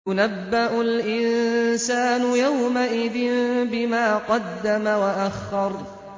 يُنَبَّأُ الْإِنسَانُ يَوْمَئِذٍ بِمَا قَدَّمَ وَأَخَّرَ